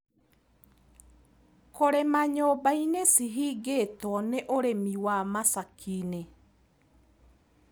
Kũrĩma nyũmbainĩ cihingĩtwo nĩ ũrimi wa macakinĩ.